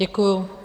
Děkuju.